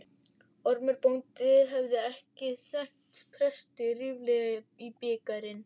Ormur bóndi hefði ekki skenkt presti ríflega í bikarinn.